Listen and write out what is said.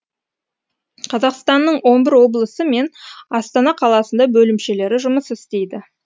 қазақстанның он бір облысы мен астана қаласында бөлімшелері жұмыс істейді